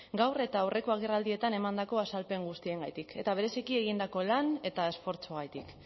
gaur eta aurreko agerraldietan emandako azalpen guztiengatik eta bereziki egindako lan eta esfortzuagatik